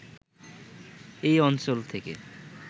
এই অঞ্চল থেকে